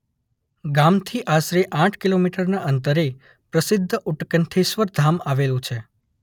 ગામથી આશરે આઠ કિલોમીટરનાં અંતરે પ્રસિદ્ધ ઉત્કંઠેશ્વર ધામ આવેલું છે